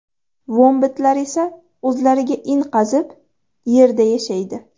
Vombatlar esa o‘zlariga in qazib, yerda yashaydi.